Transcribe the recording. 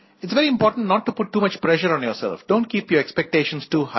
इत is very important note to put too much pressure on yourself don't keep your expectations too high